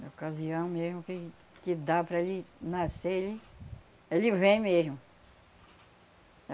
Na ocasião mesmo que que dá para ele nascer ele, ele vem mesmo.